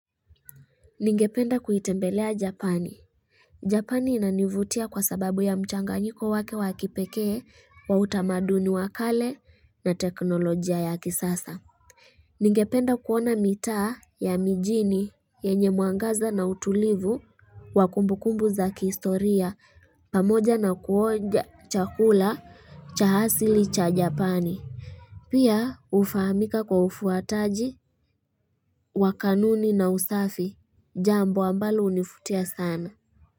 Ningependa kuitembelea japani. Japani inanivutia kwa sababu ya mchanganyiko wake wakipekee wa utamaduni wakale na teknolojia ya kisasa. Ningependa kuona mita ya mijini yenye muangaza na utulivu wakumbukumbu za kistoria pamoja na kuonja chakula cha hasili cha japani. Pia ufamika kwa ufuataji, wakanuni na usafi, jambo ambalo unifutia sana.